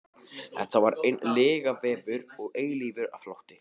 Þetta var einn lygavefur og eilífur flótti.